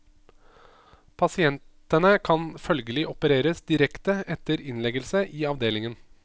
Pasientene kan følgelig opereres direkte etter innleggelse i avdelingen.